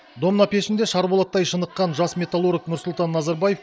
домна пешінде шарболаттай шыныққан жас металлург нұрсұлтан назарбаев